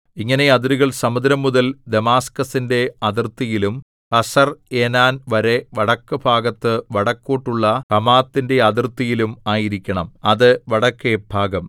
ഇങ്ങനെ അതിരുകൾ സമുദ്രംമുതൽ ദമാസ്ക്കസിന്റെ അതിർത്തിയിലും ഹസർഏനാൻ വരെ വടക്കെഭാഗത്ത് വടക്കോട്ടുള്ള ഹമാത്തിന്റെ അതിർത്തിയിലും ആയിരിക്കണം അത് വടക്കേഭാഗം